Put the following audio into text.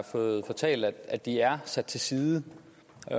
fået fortalt at de er sat til side